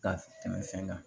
Ka tɛmɛ fɛn kan